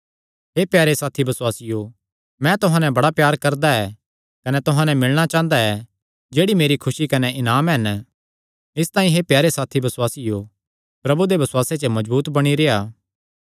हे प्यारे साथी बसुआसियो मैं तुहां नैं बड़ा प्यार करदा ऐ कने तुहां नैं मिलणा चांह़दा ऐ जेह्ड़े मेरी खुसी कने इनाम हन इसतांई हे प्यारे साथी बसुआसियो प्रभु दे बसुआसे च मजबूत बणी रेह्आ